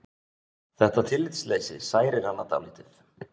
Þetta tillitsleysi særir hana dálítið.